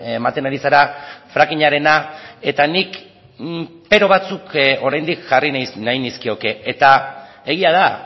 ematen ari zara frackingarena eta nik pero batzuk oraindik jarri nahi nizkioke eta egia da